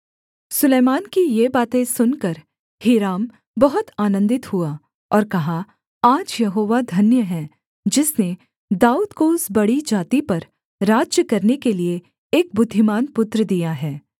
सुलैमान की ये बातें सुनकर हीराम बहुत आनन्दित हुआ और कहा आज यहोवा धन्य है जिसने दाऊद को उस बड़ी जाति पर राज्य करने के लिये एक बुद्धिमान पुत्र दिया है